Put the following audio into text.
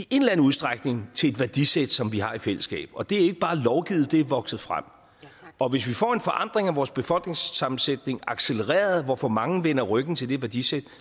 udstrækning til et værdisæt som vi har i fællesskab og det er ikke bare lovgivet det er vokset frem og hvis vi får en forandring af vores befolkningssammensætning accelereret og for mange vender ryggen til det værdisæt